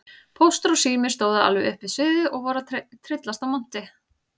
Póstur og Sími stóðu alveg upp við sviðið og voru að tryllast af monti.